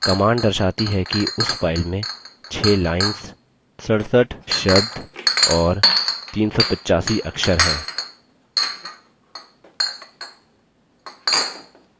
command दर्शाती है कि उस file में 6 lines 67 शब्द और 385 अक्षर हैं